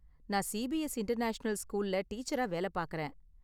நான் CBS international ஸ்கூல்ல டீச்சரா வேல பாக்கறேன்.